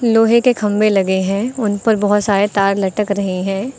लोहे के खंबे लगे हैं उन पर बहोत सारे तार लटक रहे हैं।